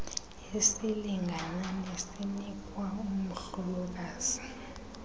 esilingana nesinikwa umhlokazi